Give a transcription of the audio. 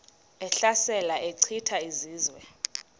ehlasela echitha izizwe